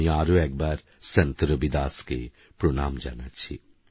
আমিআরএকবারসন্তরবিদাসকেপ্রণামজানাচ্ছি